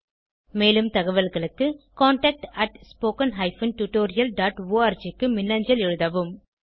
மேலும் தகவல்களுக்கு contactspoken tutorialorg க்கு மின்னஞ்சல் எழுதவும்